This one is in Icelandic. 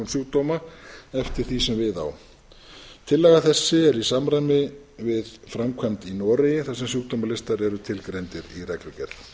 sjúkdóma eftir því sem við á tillaga þessi er í samræmi við framkvæmd í noregi þar sem sjúkdómalistar eru tilgreindir í reglugerð